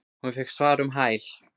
Hún fékk svar um hæl.